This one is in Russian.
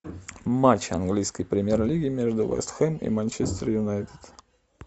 матч английской премьер лиги между вест хэм и манчестер юнайтед